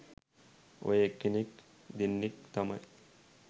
ඔය එක්කෙනෙක් දෙන්නෙක් තමයි